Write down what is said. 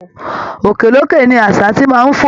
Òkè lókè ni àṣá ti máa ń fò